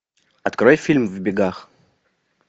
открой фильм в бегах